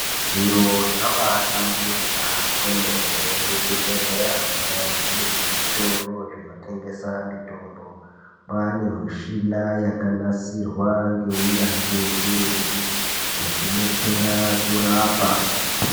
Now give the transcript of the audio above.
Zviro zvabaahlamburika kwemene muzvibhehleramwo nemuzvitoro zvinotengese mitombo kwaane michina yakanasirwa ngeunyanzvi ukuru yekubetsera kurapa.